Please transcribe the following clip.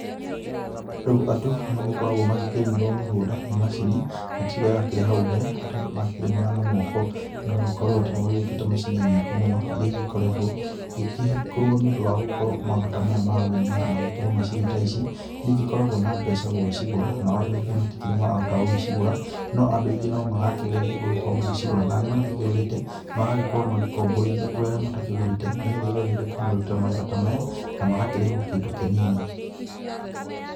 Rĩu andũ nĩmagĩkoragwo magĩkĩrĩmĩrwo mĩgũnda nĩ macini, na ti ũrĩa wakĩrĩ hau mbere, atĩ andu makĩrĩmaga na moko. Nĩgũgĩkorwo atĩ nĩgũgĩũkĩte macini nyingĩ mũno, iria igĩkoretwo igĩgĩkorwo nĩũndũ wa gũkorwo maũndũ ta maya ma ũrĩmi. Ona gũgĩkorwo macini ta ici, nĩigĩkoragwo na mbeca gũgĩcigũra, nao andũ aingĩ matikĩrĩ marahota gũgĩcigũra. No andũ aingĩ nomarakĩgeria gũgĩkorwo magĩcigũra. Na arĩa magĩgĩkĩgũrĩte, magakorwo magĩkomborithia kũrĩ arĩa matakĩgũrĩte, nĩgetha igathiĩ igakĩmarutĩra mawĩra ta maya na magakĩrĩhwo kĩndũ kĩnini.